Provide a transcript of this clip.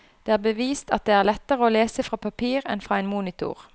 Det er bevist at det er lettere å lese fra papir enn fra en monitor.